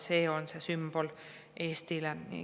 See on see sümbol Eestile.